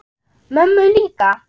Mömmu líka?